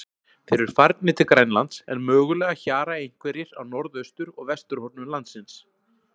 Þeir eru farnir til Grænlands, en mögulega hjara einhverjir á norðaustur- og vesturhornum landsins.